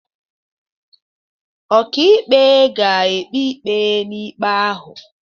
Ọkàikpe ga-ekpe ikpe na ikpe ahụ.